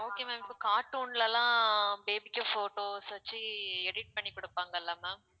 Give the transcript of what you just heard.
okay ma'am இப்ப cartoon லாம் baby க்கு photos வச்சு edit பண்ணி குடுப்பாங்கள ma'am